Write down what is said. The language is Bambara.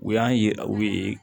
U y'an yira u ye